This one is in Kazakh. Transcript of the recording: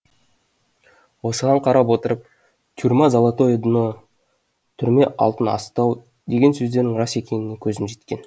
осыған қарап отырып тюрьма золотое дно түрме алтын астау деген сөздің рас екеніне көзім жеткен